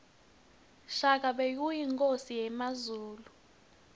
shaka bekuyinkhosi yakazulu